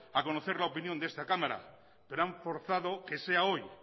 a conocer la opinión de esta cámara pero han forzado que sea hoy